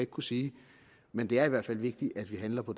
kunne sige men det er i hvert fald vigtigt at vi handler på